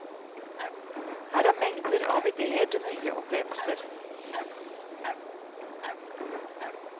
Her er mengder av idéer til nye opplevelser.